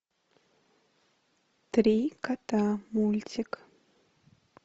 три кота мультик